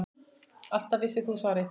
Alltaf vissir þú svarið.